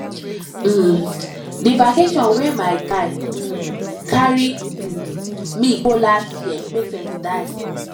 um di vacation wey my guy um carry um me go last year make sense die